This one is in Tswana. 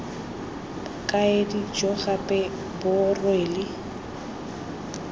bokaedi jo gape bo rwele